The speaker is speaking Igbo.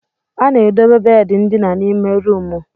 A na-edobe bedi ndina n'ime ruumu.